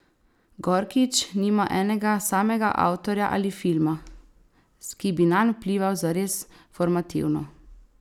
Gorkič nima enega samega avtorja ali filma, ki bi nanj vplival zares formativno.